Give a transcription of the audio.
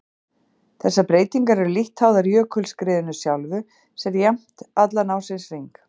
Þessar breytingar eru lítt háðar jökulskriðinu sjálfu sem er jafnt allan ársins hring.